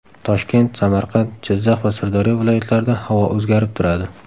Toshkent, Samarqand, Jizzax va Sirdaryo viloyatlarida havo o‘zgarib turadi.